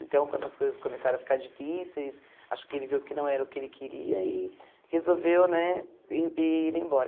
Então, quando as coisas começaram a ficar difíceis, acho que ele viu que não era o que ele queria e resolveu né ir ir embora.